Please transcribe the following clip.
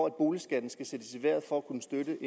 at boligskatten skal sættes i vejret for at kunne støtte